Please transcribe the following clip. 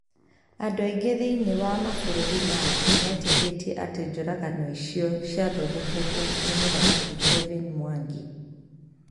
Andũ aingĩ thĩinĩ wa mabũrũri ma thĩ metĩkĩtie atĩ njũragano icio ciathondeketwo nĩ Mũthamaki Kevin mwangi.